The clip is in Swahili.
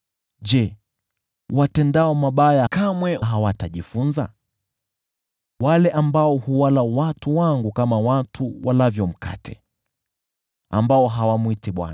Je, watendao mabaya kamwe hawatajifunza: wale ambao huwala watu wangu kama watu walavyo mkate, hao ambao hawamwiti Bwana ?